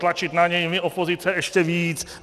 Tlačit na něj my opozice ještě víc.